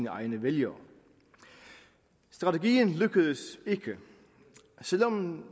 egne vælgere strategien lykkedes ikke selv om